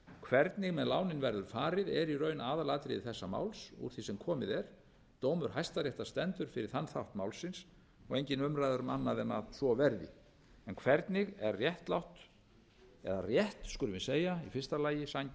hvernig með lánin verður farið er í raun aðalatriði þessa máls úr því sem komið er dómur hæstaréttar stendur fyrir þann þátt málsins og engin umræða er um annað en að svo verði en hvernig er réttlátt eða rétt skulum við segja í fyrsta lagi sanngjarnt